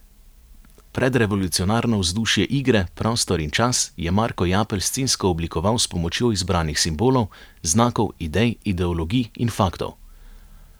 Predrevolucionarno vzdušje igre, prostor in čas, je Marko Japelj scensko oblikoval s pomočjo izbranih simbolov, znakov, idej, ideologij in faktov.